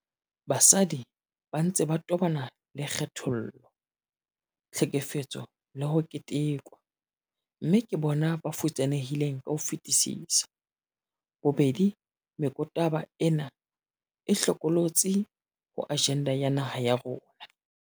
Basadi ba ntse ba tobana le kgethollo, tlhekefetso le ho ketekwa, mme ke bona ba futsanehileng ka ho fetisisa. Bobedi mekotaba ena e hlokolotsi ho ajenda ya naha ya rona.